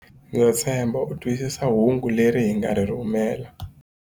Ndza tshemba u twisisa hungu leri hi nga ri rhumela.